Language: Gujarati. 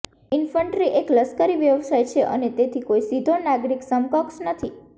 ઇન્ફન્ટ્રી એક લશ્કરી વ્યવસાય છે અને તેથી કોઈ સીધો નાગરિક સમકક્ષ નથી